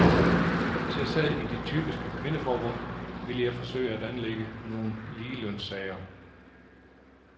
Hvis jeg sad i de typiske kvindeforbund, ville jeg forsøge at anlægge nogle ligelønssager.